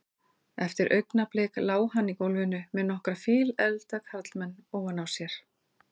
Eftir augnablik lá hann í gólfinu með nokkra fíleflda karlmenn ofan á sér.